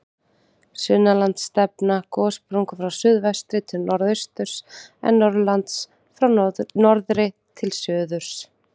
Sunnanlands stefna gossprungur frá suðvestri til norðausturs, en norðanlands frá norðri til suðurs.